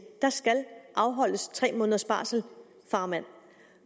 der skal afholdes tre måneders barsel af farmand